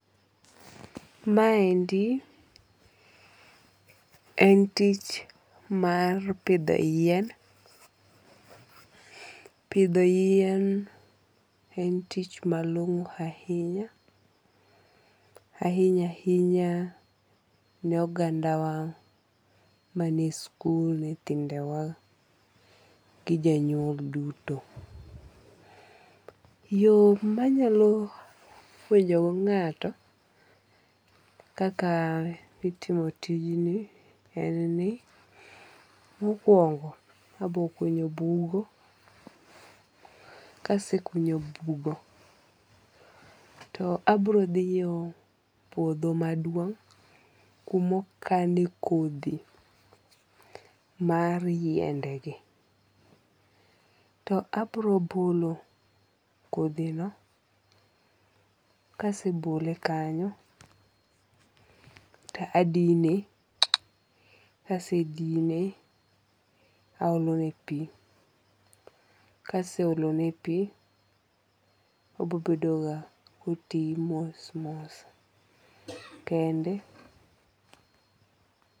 Ma endi en tich mar pidho yien. Pidho yien en tich malong'o ahinya. Ahinya ahinya ne oganda wa manie e sikul, nyithindewa gi jonyuol duto. Yor manyalo puonjo go ng'ato kaka itimo tijni en ni mokuongo abokunyo bugo. Kasekunyo bugo to abro dhiyo puodho maduong' kumikane kodhi mar yiende gi. To abro bolo kodhi no. Kasebole kanyo to adine. Kasedine aolo ne pi. Kase olo ne pi obobedo ga koti mos mos kende.